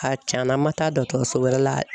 A cɛnna an ma taa dɔgɔtɔrɔso wɛrɛ la.